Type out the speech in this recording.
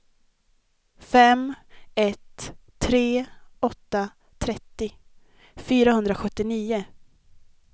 fem ett tre åtta trettio fyrahundrasjuttionio